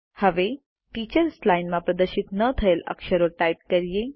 હવે teachers line માં પ્રદર્શિત ન થયેલ અક્ષરો ટાઇપ કરીએ